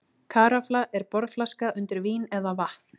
Karafla er borðflaska undir vín eða vatn.